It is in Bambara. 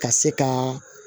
Ka se ka